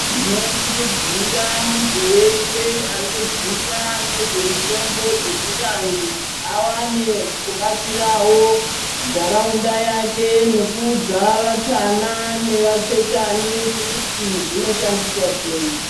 Tinokurudzira muntu weshe anoziva ngezvemitombo dzechivanthu awane kubatsirawo ntharaunda yake nekuudza vatana nevachechani kuti zvinoshandiswa sei.